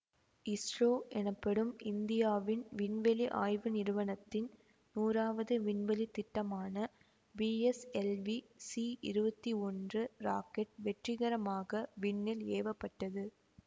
இஸ்ரோ எனப்படும் இந்தியாவின் விண்வெளி ஆய்வு நிறுவனத்தின் நூறாவது விண்வெளி திட்டமான பிஎஸ்எல்வி சி இருவத்தி ஒன்று ராக்கெட் வெற்றிகரமாக விண்ணில் ஏவ பட்டது